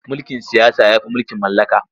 Mulkin siyasa ya fi mulkin mallaka.